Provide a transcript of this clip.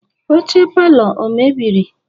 Oche palọ o mebiri?